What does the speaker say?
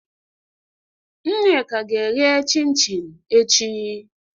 Nneka ga-ehee chin-chin echi